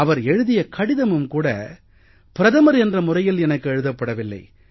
அவர் எழுதிய கடிதமும் கூட பிரதமர் என்ற முறையில் எனக்கு எழுதப்படவில்லை